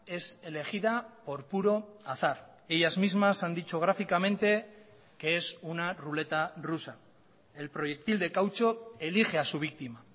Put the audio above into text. es elegida por puro azar ellas mismas han dicho gráficamente que es una ruleta rusa el proyectil de caucho elige a su víctima